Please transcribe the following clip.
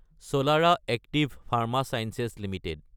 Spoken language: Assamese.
চলাৰা এক্টিভ ফাৰ্মা ছায়েন্স এলটিডি